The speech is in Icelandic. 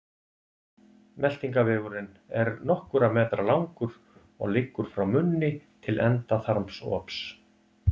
Meltingarvegurinn er nokkurra metra langur og liggur frá munni til endaþarmsops.